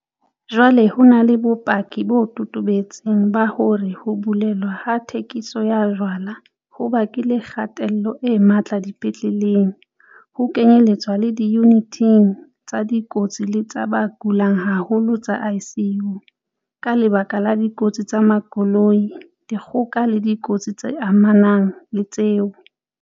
Jwale ho na le bopaki bo totobetseng ba hore ho bulelwa ha thekiso ya jwala ho bakile kgatello e matla dipetleleng, ho kenyeletswa le diyuniting tsa dikotsi le tsa ba kulang haholo tsa ICU, ka lebaka la dikotsi tsa makoloi, dikgoka le dikotsi tse amanang le tseo.